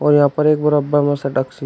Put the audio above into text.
यहां पर एक मुरब्बा में --